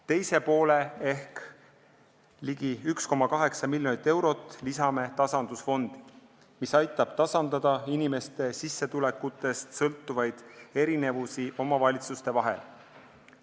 Teise poole ehk ligi 1,8 miljonit eurot lisame tasandusfondi, mis aitab tasandada inimeste sissetulekutest sõltuvaid erinevusi omavalitsuste vahel.